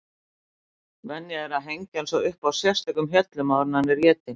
Venja er að hengja hann svo upp á sérstökum hjöllum áður en hann er étinn.